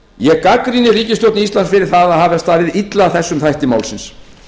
ég gagnrýni ríkisstjórn íslands fyrir það að hafa staðið illa að þessum þætti málsins